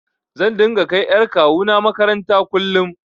Zan dinga kai ƴar kawuna maƙaranta kullum.